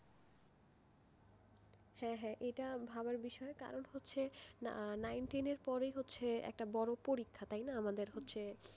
হ্যাঁ হ্যাঁ এটা একটা ভাবার বিষয় কারণ হচ্ছে nine ten এর পরেই হচ্ছে একটা বড় পরীক্ষা তাই না?